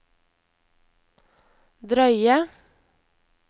drøye